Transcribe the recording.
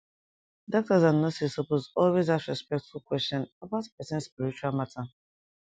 doctors and nurses suppose always ask respectful question about person spiritual matter